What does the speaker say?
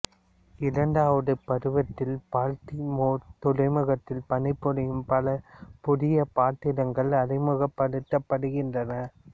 இரண்டாவது பருவத்தில் பால்ட்டிமோர் துறைமுகத்தில் பணிபுரியும் பல புதிய பாத்திரங்கள் அறிமுகப்படுத்தப்படுகின்றன